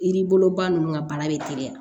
I ni bolo ba ninnu ka bana bɛ teliya